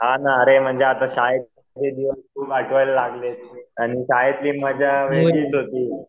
हां ना अरे म्हणजे शाळेत आणि काय ती मजा वेगळीच होती.